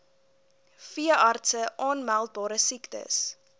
veeartse aanmeldbare siektes